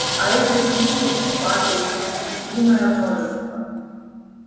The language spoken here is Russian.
а этих листьев падает неисчислимое множество